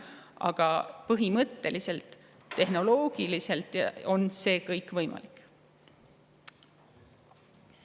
Aga tehnoloogiliselt on see kõik põhimõtteliselt võimalik.